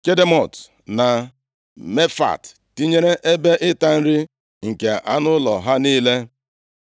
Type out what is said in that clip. Kedemot na Mefaat, tinyere ebe ịta nri nke anụ ụlọ ha niile.